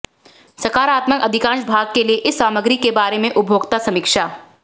सकारात्मक अधिकांश भाग के लिए इस सामग्री के बारे में उपभोक्ता समीक्षा